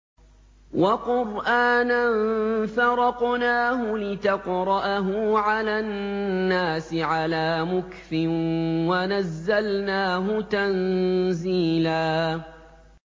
وَقُرْآنًا فَرَقْنَاهُ لِتَقْرَأَهُ عَلَى النَّاسِ عَلَىٰ مُكْثٍ وَنَزَّلْنَاهُ تَنزِيلًا